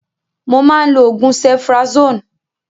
Mo máa ń lò oògùn cephrazone